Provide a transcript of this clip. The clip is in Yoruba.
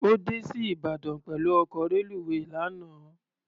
Ó dé sí Ìbàdàn pẹ̀lú ọkọ̀ reluwé lánàá.